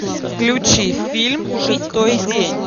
включи фильм шестой день